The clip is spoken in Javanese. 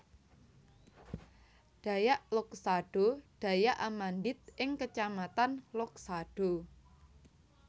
Dayak Loksado Dayak Amandit ing kecamatan Loksado